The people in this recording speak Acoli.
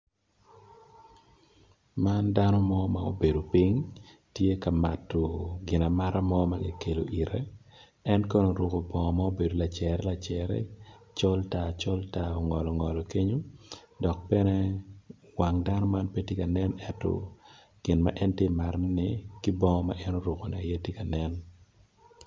Man dano mo ma obedo piny tye ka mato ginamata mo en oruko bongo ma obedo col tar col tar dok bene wange pe tye ka nen ento gin ma en oruko-im aye tye ka nen